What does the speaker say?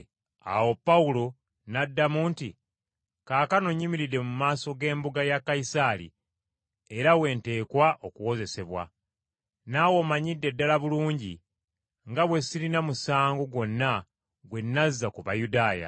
Awo Pawulo n’addamu nti, “Kaakano nyimiridde mu maaso g’embuga ya Kayisaali era we nteekwa okuwozesebwa. Naawe omanyidde ddala bulungi nga bwe sirina musango gwonna gwe nazza ku Bayudaaya.